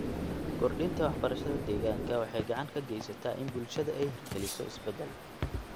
Kordhinta waxbarashada deegaanka waxay gacan ka geysataa in bulshada ay hirgeliso isbedel.